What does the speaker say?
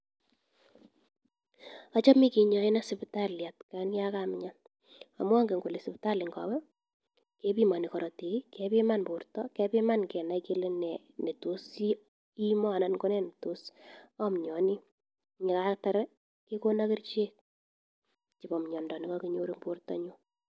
Achame kinyaenan sipitali atian ya kamian amu anget kole sipitali ngawe kepimani karatik i, kepiman porto kenai kele ne tos iima anan ne tos amianii. Ye kaatar kekona kerichek chepo mianda ne kakinyor eng' portonyun.